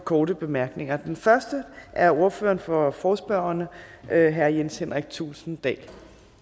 korte bemærkninger den første er ordføreren for forespørgerne herre jens henrik thulesen dahl